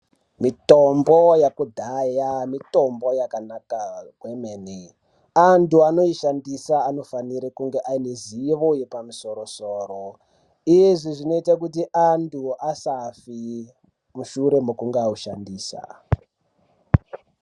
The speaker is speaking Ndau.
Mitombo yakudhaya mitombo yakanaka kwemene antu anoishandisa anofanire kunge anezivo yepamusoro soro izvi zvinoita kuti antu asafe mushure mekunge aushandisa.